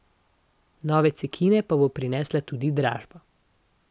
Nove cekine pa bo prinesla tudi dražba.